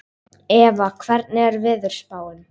Eva, hvernig er veðurspáin?